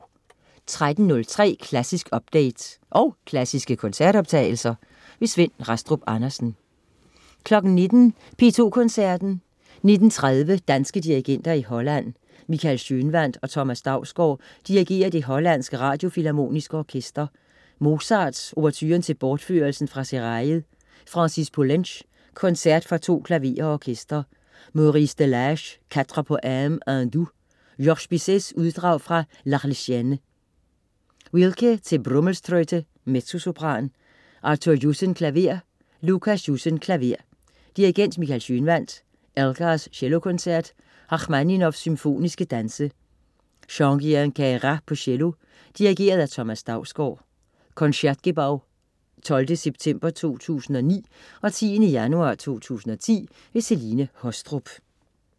13.03 Klassisk update. Og klassiske koncertoptagelser. Svend Rastrup Andersen 19.00 P2 Koncerten. 19.30 Danske dirigenter i Holland. Michael Schønwandt og Thomas Dausgaard dirigerer Det hollandske Radiofilharmoniske Orkester. Mozart: Ouverturen til Bortførelsen fra Seraillet. Francis Poulenc: Koncert for to klaverer og orkester. Maurice Delage: Quatre Poèmes hindous. Georges Bizet: Uddrag fra L'Arlésienne. Wilke te Brummelstroete, mezzosopran. Arthur Jussen, klaver. Lucas Jussen, klaver. Dirigent: Michael Schønwandt. Elgar: Cellokoncert. Rakhmaninov: Symfoniske danse. Jean-Guihen Queyras, cello. Dirigent: Thomas Dausgaard. (Concertgebow 12. september 2009 og 10. januar 2010). Celine Haastrup